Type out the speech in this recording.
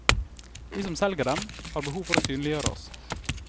Vi som selger dem, har behov for å synliggjøre oss.